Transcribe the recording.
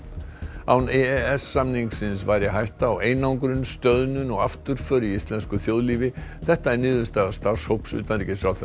án e e s samningsins væri hætta á einangrun stöðnun og afturför í íslensku þjóðlífi þetta er niðurstaða starfshóps utanríkisráðherra